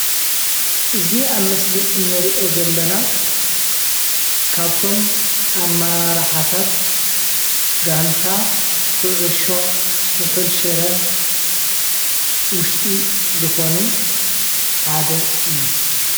እዚ ኣብ ምስሊ እንሪኦ ዘለና ካብቶም ኣመራርሓታት ጋንታ ኩዕሾ ስሑል ሽረ ውሽጢ ዝኮኑ ሓደ እዩ፡፡